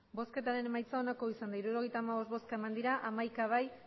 emandako botoak hirurogeita hamabost bai hamaika ez